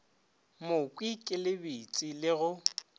mokhwi ke lebetše le go